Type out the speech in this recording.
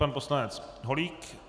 Pan poslanec Holík.